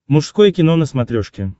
мужское кино на смотрешке